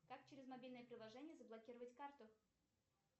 как через мобильное приложение заблокировать карту